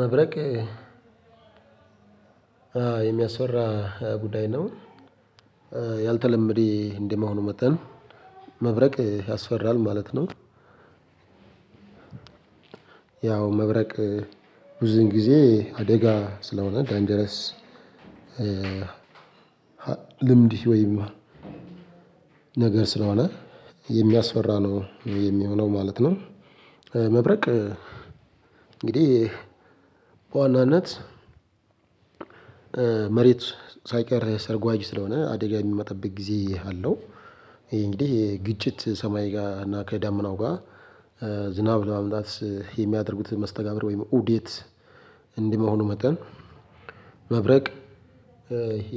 መብረቅ የሚያስፈራ ጉዳይ ነው ያልተለመደ እንደመሆኑ መጠን መብረቅ ያስፈራል ማለት ነው ያው መብረቅ ብዙን ጊዜ አደጋ ስለሆነ ዳንጀረስ ልምድ ወይም ነገር ስለሆነ የሚያስፈራ ነው የሚሆነው ማለት ነው መብረቅ እንግዲህ በዋናነት መሬት ሳይቀር ሰርጓጅ ስለሆነ አደጋ የሚመጣበት ጊዜ አለው እንግዲህ ግጭት ሰማይ ጋር እና ከዳመናው ጋር ዝናብ ለማምጣት የሚያደርጉት መስተጋብር ወይም ኡደት እንደ መሆኑ መጠን መብረቅ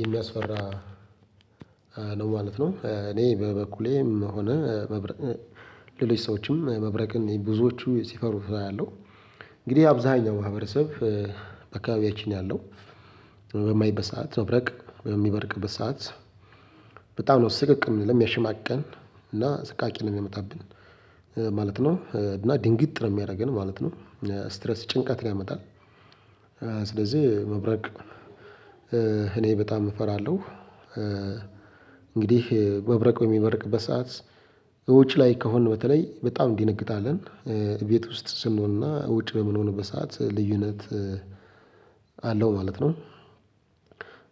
የሚያስፈራ ነው ማለት ነው እኔ በበኩሌም ሆነ ሌሎች ሰዎችም መብረቅን ብዙዎቹ ሲፈሩ አያለሁ እንግዲህ አብዛኛው ማህበረሰብ በአካባቢያችን ያለው በማይበት ሰዓት መብረቅ በሚበርቅበት ሰዓት በጣም ነው ስቅቅ የምልህ የሚያሽማቅቀን እና አሰቃቂ ነው የሚያመጣብን ማለት ነው እና ድንግጥ ነው የሚያደርገን ማለት ነው እስትረስ ጭንቀትን ያመጣል ስለዚህ መብረቅ እኔ በጣም እፈራለሁ። እንግዲህ መብረቅ በሚበርቅበት ሰዓት እውጭ ላይ ከሆንን በተለይ በጣም እንደነግጣለን ቤት ውስጥ ስንሆንና ውጭ በምንሆንበት ሰዓት ልዩነት አለው ማለት ነው።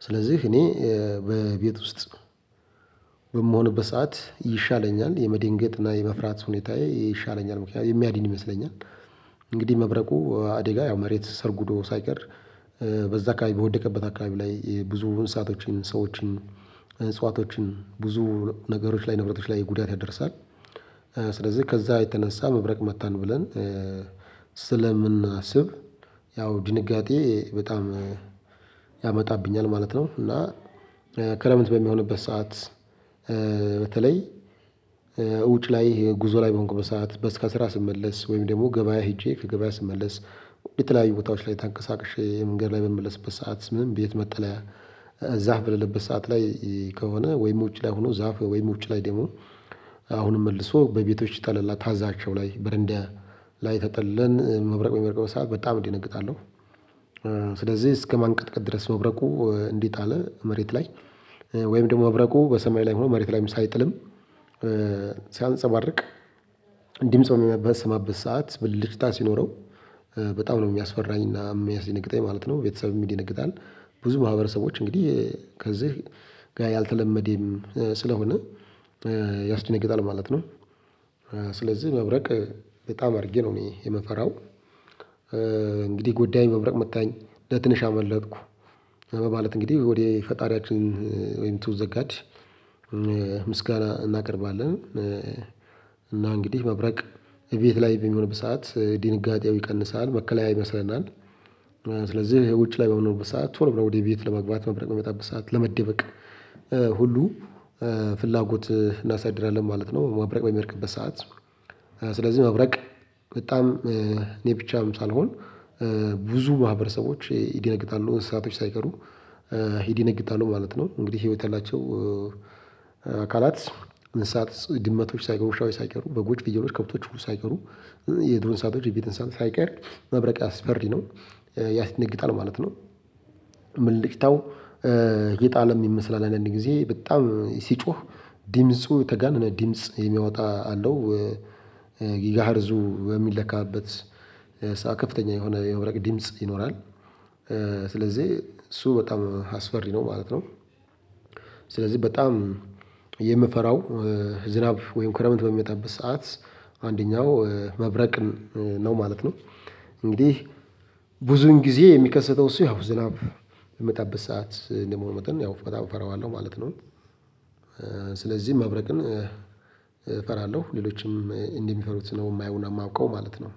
ስለዚህ እኔ በቤት ውስጥ በምሆንበት ሰዓት ይሻለኛል የመደንገጥና የመፍራት ሁኔታዬ ይሻለኛል ምክንያቱም የሚያድን ይመስለኛል። እንግዲህ መብረቁ አደጋ ያው መሬት ሰርጉዶ ሳይቀር በዛ አካባቢ በወደቀበት አካባቢ ላይ ብዙ እንስሳቶችን ሰዎችን እጽዋቶችን ብዙ ነገሮች ላይ ንብረቶች ላይ ጉዳት ያደርሳል ስለዚህ ከዛ የተነሳ መብረቅ መታን ብለን ስለምናስብ ያው ድንጋጤ በጣም ያመጣብኛል ማለት ነው እና ክረምት በሚሆንበት ሰዓት በተለይ እውጭ ላይ ጉዞ ላይ በሆንኩበት ሰዓት ከስራ ስመለስ ወይም ደግሞ ገበያ ሄጄ ከገበያ ስመለስ በተለያዩ ቦታዎች ላይ ታንቀሳቅሼ መንገድ ላይ በምመለስበት ሰዓት ምንም ቤት መጥለያ ዛፍ በሌለበት ሰዓት ላይ ከሆነ ወይም ውጪ ላይ ሆኖ ዛፍ ወይም ውጪ ላይ ደግሞ አሁንም መልሶ በቤቶች ጠለላ ታዛቸው ላይ በረንዳ ላይ ተጠልለን መብረቅ በሚበርቅበት ሰዓት በጣም እደነግጣለው። ስለዚህ እስከማንቀጥቀጥ ድረስ መብረቁ እንደጣለ መሬት ላይ ወይም ደግሞ መብረቁ በሰማይ ላይ ሆኖ መሬት ላይም ሳይጥልም ሲያንፀባርቅ ድምጽ በምሰማበት ሰዓት ብልጭታ ሲኖረው በጣም ነው የሚያስፈራኝና የሚያስደነግጠኝ ማለት ነው ቤተሰብም ይደነግጣል ብዙ ማህበረሰቦች እንግዲህ ከዚህ ጋር ያልተለመደም ስለሆነ ያስደነግጣል ማለት ነው። ስለዚህ መብረቅ በጣም አድርጌ ነው እኔ የምፈራው እንግዲህ ጉዳኝ መብረቅ መታኝ ለትንሽ አመለጠኩ። በማለት እንግዲህ ወደ ፈጣሪያችን ወይም ቱ ዘ ጋድ ምስጋና እናቀርባለን። እና እንግዲህ መብረቅ ቤት ላይ በሚሆንበት ሰዓት ድንጋጤው ይቀንሳል መከለያ ይመስለናል። ስለዚህ ውጭ ላይ በሚሆንበት ሰዓት ቶሎ ብለው ወደ ቤት ለመግባት ማብረቅ የሚመጣበት ሰዓት ለመደበቅ ሁሉ ፍላጎት እናሳድራለን ማለት ነው መብረቅ በሚወድቅበት ሰዓት ስለዚህ መብረቅ በጣም እኔ ብቻም ሳልሆን ብዙ ማህበረሰቦች ይደነግጣሉ እንስሳቶች ሳይቀሩ ይደነግጣሉ ማለት ነው እንግዲህ ህይወት ያላቸው አካላት እንስሳት ድመቶች ሳይቀሩ ዉሻዎች ሳይቀሩ በጎች ፍየሎች ከብቶች ሁሉ ሳይቀሩ የዱር እንስሳቶች የቤት እንስ ሳት ሳይቀር መብረቅ አስፈሪ ነው ያስደነግጣል ማለት ነው ብልጭታው የጣለ የይመስላል አንዳንድ ጊዜ በጣም ሲጮህ ደምጹ የተጋነነ ደምጽ የሚያወጣ አለው ጊጋሄርዙ በሚለካበት ሰዓት ከፍተኛ የሆነ የመብረቅ ድምጽ ይኖራል። ስለዚህ እሱ በጣም አስፈሪ ነው ማለት ነው። ስለዚህ በጣም የምፈራው ዝናብ ወይም ክረምት በሚመጣበት ሰዓት አንደኛው መብረቅ ነው ማለት ነው እንግዲህ ብዙን ጊዜ የሚከሰተው እሱ ያው ዝናብ የሚመጣበት ሰዓት እንደመሆኑ መጠን ያው በጣም እፈረዋለሁ ማለት ነው። ስለዚህ መብረቅን እፈራለሁ ሌሎችም እንዲህ የሚፈሩት ነው የማየውና የማውቀው ማለት ነው።